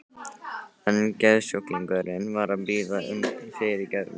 En geðsjúklingurinn var að biðja um fyrirgefningu.